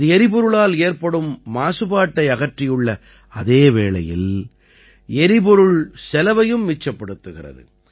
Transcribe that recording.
இது எரிபொருளால் ஏற்படும் மாசுபாட்டை அகற்றியுள்ள அதே வேளையில் எரிபொருள் செலவையும் மிச்சப்படுத்துகிறது